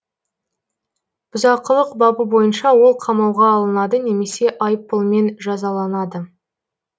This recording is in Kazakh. бұзақылық бабы бойынша ол қамауға алынады немесе айыппұлмен жазаланады